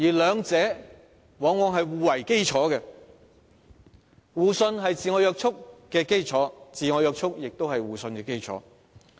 兩者往往是互為基礎，互信是自我約束的基礎，自我約束也是互信的基礎。